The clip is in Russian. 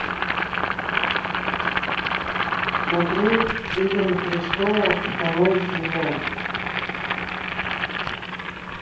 смотреть игры престолов второй сезон